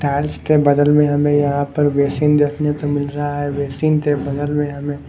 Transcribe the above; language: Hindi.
टाइल्स के बदल में हमें यहां पर बेसिन देखने को मिल रहा है बेसिन के बदल में हमें।